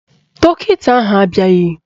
Dọkịta ahụ abịaghị